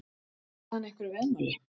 Tapaði hann einhverju veðmáli?